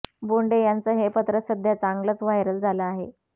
बोंडे यांचं हे पत्र सध्या चांगलंच व्हायरल झालं आहे